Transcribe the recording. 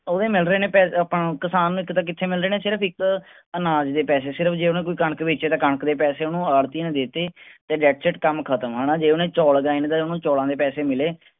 ਓਹਦੇ ਮਿਲਦੇ ਨੇ ਪੈਸੇ ਅਮ ਆਪਾਂ ਨੂੰ ਕਿਸਾਨ ਨੂੰ ਇੱਕ ਤਾਂ ਕਿਥੇ ਮਿਲਦੇ ਨੇ ਸਿਰਫ ਇੱਕ ਅਨਾਜ ਦੇ ਪੈਸੇ ਸਿਰਫ ਜੇ ਓਹਨੂੰ ਕੋਈ ਕਣਕ ਬੇਚੇ ਤਾਂ ਓਹਨੂੰ ਕਣਕ ਦੇ ਪੈਸੇ ਆੜ੍ਹਤੀ ਨੂੰ ਦੇਤੇ ਕੰਮ ਖਤਮ ਹੈਨਾ ਜੇ ਓਹਨੇ ਚੌਲ ਉਗਾਏ ਨੇ ਤਾਂ ਓਹਨੂੰ ਚੌਲਾਂ ਦੇ ਪੈਸੇ ਮਿਲੇ